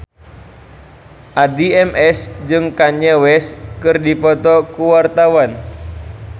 Addie MS jeung Kanye West keur dipoto ku wartawan